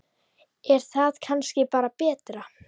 Er það kannski bara betra?